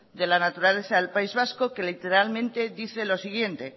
de la naturaleza del país vasco que literalmente dice lo siguiente